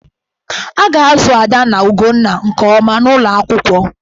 A ga-azụ Ada na Ugonna nke ọma n'ụlọ akwụkwọ.